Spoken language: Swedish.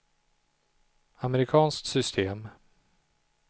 amerikanskt system